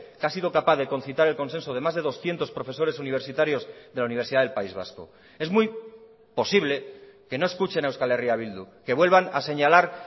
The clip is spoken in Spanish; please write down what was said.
que ha sido capaz de concitar el consenso de más de doscientos profesores universitarios de la universidad del país vasco es muy posible que no escuchen a euskal herria bildu que vuelvan a señalar